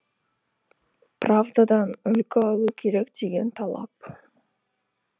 правдадан үлгі алу керек деген талап